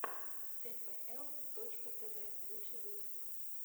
тпл точка тв лучший выпуск